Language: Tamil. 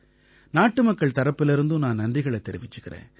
நாட்டுமக்கள் தரப்பிலிருந்தும் நான் நன்றிகளைத் தெரிவிச்சுக்கறேன்